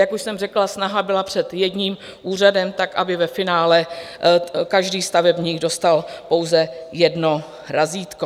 Jak už jsem řekla, snaha byla před jedním úřadem tak, aby ve finále každý stavebník dostal pouze jedno razítko.